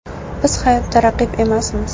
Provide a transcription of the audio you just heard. Biz hayotda raqib emasmiz.